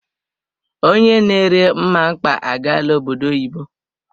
Onye na ere mmamkpa agaala obodo oyibo.